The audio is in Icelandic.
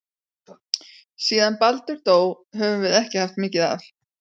Síðan Baldur dó höfum við ekki haft mikið af